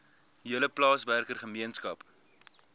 hele plaaswerker gemeenskap